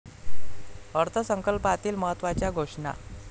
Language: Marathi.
अर्थसंकल्पातील महत्त्वाच्या घोषणा.